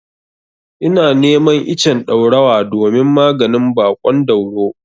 Ina neman icen ɗaurawa domin maganin baƙon dauro.